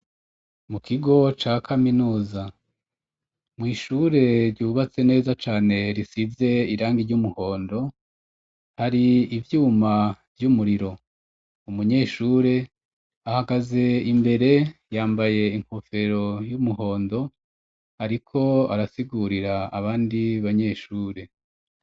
mu kigo ca caminusa mu ishure ryubatse neza cane risize irangi ry'umuhondo hari ibyuma by'umuriro umunyeshure ahagaze imbere yambaye inkofero y'umuhondo ariko arasigurira abandi banyeshure